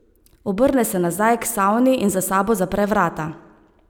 Obrne se nazaj k savni in za sabo zapre vrata.